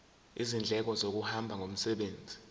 izindleko zokuhamba ngomsebenzi